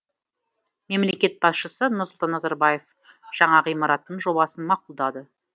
мемлекет басшысы нұрсұлтан назарбаев жаңа ғимараттың жобасын мақұлдады